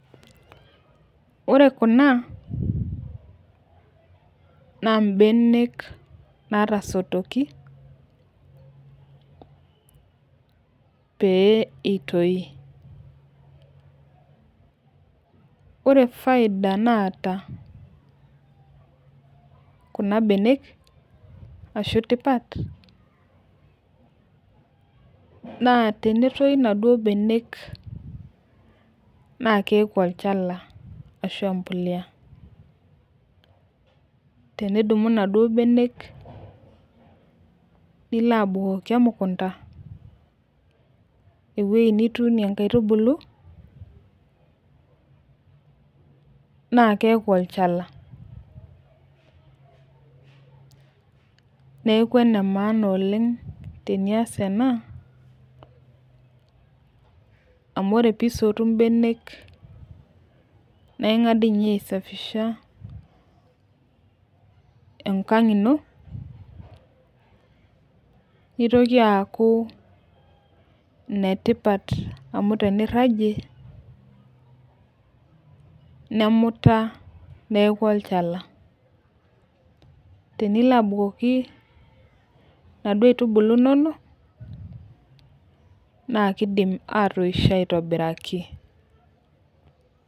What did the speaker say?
Ore Kuna naa benek, naatasotoki, pee itoki,.ore faida naata Kuna benek, ashu tipat, naa tenetii inaduoo benek naa keeku olchala. ashu empuliya. tenidumu inaduoo benek, nilo abukoki emukunta, ewueji nituunie nkaitubulu naa keeku olchala. neeku ene maana oleng tenias ena ,amu ore pee isotu benek naa ingas doi ninye aisafisha, enkang ino, nitoki aaku ine tipat amu teniragie, nemuta neeku olchala, tenilo abukoki inaduoo aitubulu inonok. naa kidim atoisho aitobiraki.